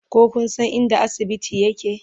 ko Kun San inda asibiti yake?